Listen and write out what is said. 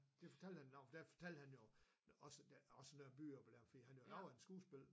Det fortalte han om for der fortalte han jo også også noget om byer for der var noget af et skuespil